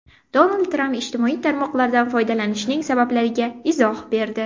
Donald Tramp ijtimoiy tarmoqlardan foydalanishining sabablariga izoh berdi.